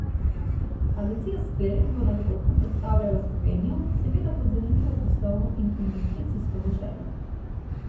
Agencija Spirit bo na dogodku predstavljala Slovenijo, seveda kot zanimivo poslovno in investicijsko deželo.